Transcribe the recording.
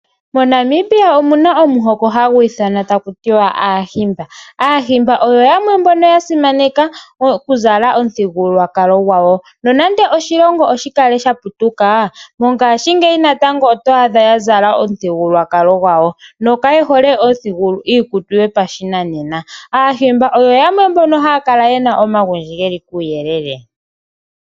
MoNamibia omuna omuhoko hagu ithanwa taku tiwa aaHimba. AaHimba oyo yamwe mbono yasimaneka okuzala omuthigululwakalo gwawo. Nonando oshilongo oshikale sha putuka mongashingeyi natango oto adha ya zala omuthigululwakalo gwawo nokayehole iikutu yopashinanena. AaHimba oyo yamwe mbono haya kala ye na omagundji geli kuuyelele.